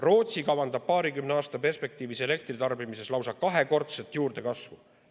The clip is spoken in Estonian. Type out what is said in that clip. Rootsi kavandab paarikümne aasta perspektiivis elektritarbimises lausa kahekordset juurdekasvu.